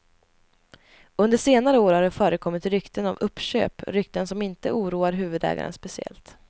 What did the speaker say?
Under senare år har det förekommit rykten om uppköp, rykten som inte oroar huvudägaren speciellt.